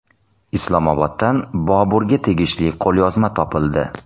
Islomoboddan Boburga tegishli qo‘lyozma topildi.